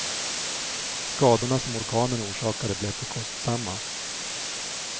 Skadorna som orkanen orsakade blev för kostsamma.